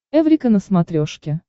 эврика на смотрешке